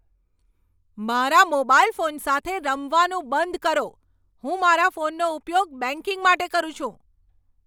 મારા mobile phone સાથે રમવાનું બંધ કરો. હું મારા ફોનનો ઉપયોગ બેંકિંગ માટે કરું છું.